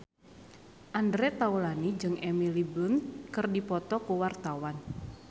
Andre Taulany jeung Emily Blunt keur dipoto ku wartawan